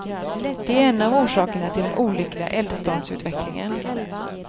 Det är en av orsakerna till den olyckliga eldstormsutvecklingen.